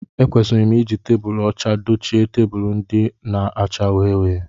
Ekwesịrị m I ji tebulu ọcha dochie tebụlu ndị a na-acha uhie uhie